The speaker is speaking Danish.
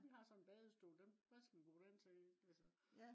vi har sådan en badestol hvad skal vi bruge den til altså